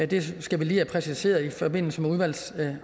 det skal vi lige have præciseret i forbindelse med udvalgsarbejdet